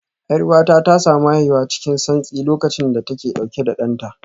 Yar'uwata ta samu haihuwa cikin santsi lokacin da take dauke da danta